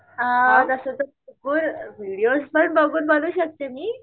हा तसं तर व्हिडीओज पण बघून बनवू शकते मी.